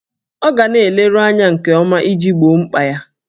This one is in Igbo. Ọ ga na-eleru anya nke ọma iji gboo mkpa ya.